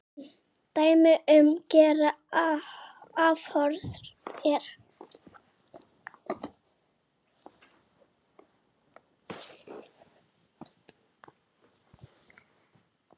Dæmi um gera afhroð er